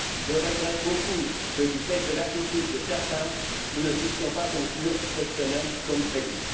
Je regrette beaucoup que, du fait de l'attitude de certains, nous ne puissions pas conclure cette semaine comme prévu.